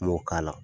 N m'o k'a la